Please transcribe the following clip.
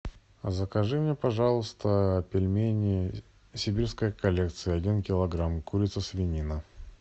закажи мне пожалуйста пельмени сибирская коллекция один килограмм курица свинина